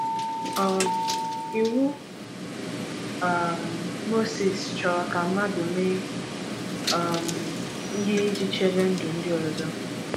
um Iwu um Mosis chọrọ ka mmadụ mee um ihe iji chebe ndụ ndị ọzọ.